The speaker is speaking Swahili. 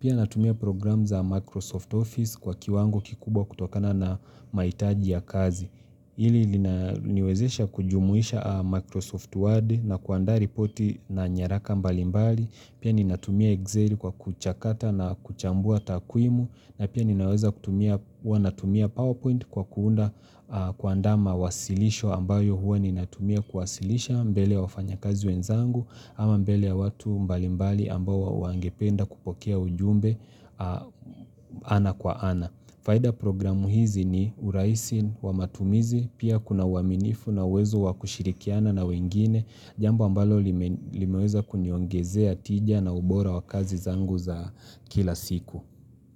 Pia natumia program za Microsoft Office kwa kiwango kikubwa kutokana na mahitaji ya kazi. Ili niwezesha kujumuisha Microsoft Word na kuandaa ripoti na nyaraka mbalimbali, pia ni natumia Excel kwa kuchakata na kuchambua takwimu, na pia ni naweza kutumia PowerPoint kwa kuunda kuandama wasilisho ambayo hua ni natumia kuwasilisha mbele ya wafanya kazi wenzangu, ama mbele ya watu mbalimbali ambayo waangependa kupokea ujumbe ana kwa ana. Faida programu hizi ni uraisi, wamatumizi, pia kuna waminifu na uwezo wakushirikiana na wengine, jambo mbalo limeweza kuniongezea tija na ubora wa kazi zangu za kila siku.